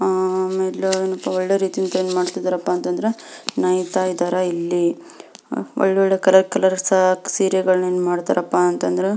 ಆಹ್ಹ್ ಆಮೇಲ್ ಏನಪ್ಪಾ ಅಂದ್ರ ಒಳ್ಳೆ ರೀತಿ ಏನ್ಮಾಡ್ತೀರಪ್ಪ ಅಂದ್ರ ನೇಯುತ್ತಾ ಇದ್ದಾರೆ ಇಲ್ಲಿ ಒಳ್ಳೆ ಒಳ್ಳೆ ಕಲರ್ ಕಲರ್ ಸೀರೆಗಳನ್ನ ಏನ್ ಮಾಡ್ತಾರಪ್ಪಾ ಅಂತಂದ್ರ --